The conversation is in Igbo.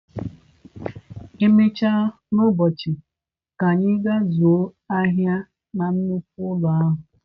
Emechaa n'ụbọchị, ka anyị gaa zụọ ahịa na nnukwu ụlọ ahịa